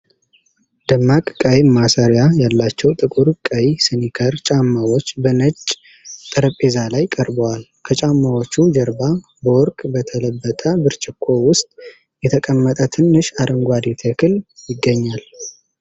ደማቅ ቀይ ማሰሪያ ያላቸው ጥቁር ቀይ ስኒከር ጫማዎች በነጭ ጠረጴዛ ላይ ቀርበዋል። ከጫማዎቹ ጀርባ በወርቅ በተለበጠ ብርጭቆ ውስጥ የተቀመጠ ትንሽ አረንጓዴ ተክል ይገኛል።